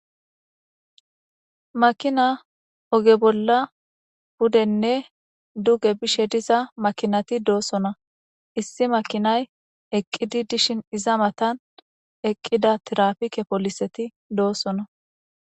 Makina oge bolla budenne duge bishe diza makinati doosona issi makinay eqqidi dishin iza matan eqqida tirapike poliseti doossona.